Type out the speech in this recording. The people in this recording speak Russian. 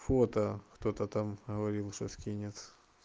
фото кто-то там говорил что скинет